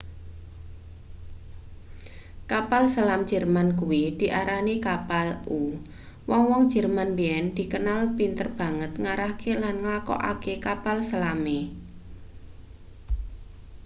kapal selam jerman kuwi diarani kapal-u wong-wong jerman biyen dikenal pinter banget ngarahke lan nglakokake kapal selame